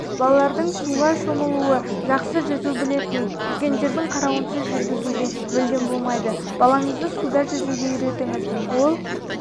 балардың суға шомылуы жақсы жүзу білетін үлкендердің қарауынсыз жүргізуге мүлдем болмайды балаңызды суда жүзуге үйретіңіз ол